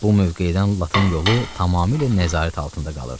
Bu mövqedən Latin yolu tamamilə nəzarət altında qalırdı.